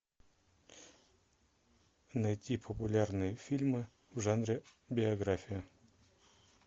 найти популярные фильмы в жанре биография